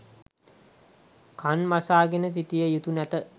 කන් වසා ගෙන සිටිය යුතු නැත